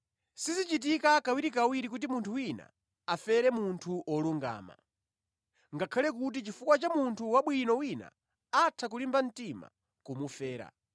Sizichitika kawirikawiri kuti munthu wina afere munthu wolungama, ngakhale kuti chifukwa cha munthu wabwino wina atha kulimba mtima kumufera.